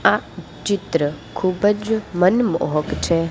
આ ચિત્ર ખુબજ મનમોહક છે.